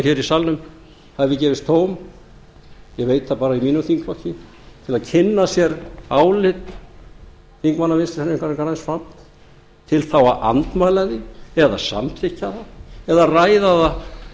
hér í salnum hafi gefist tóm ég veit það bara í mínum þingflokki til að kynna sér álit þingmanna vinstri hreyfingarinnar græns framboðs til þá að andmæla því eða samþykkja það eða ræða það